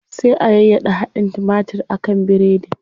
Sai a yayyaɗa hadin timatir a kan biredin.